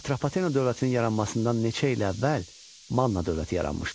Atropatena dövlətinin yaranmasından neçə il əvvəl Manna dövləti yaranmışdı?